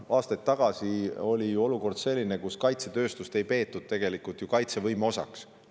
Aastaid tagasi oli selline olukord, kus kaitsetööstust ei peetud kaitsevõime osaks.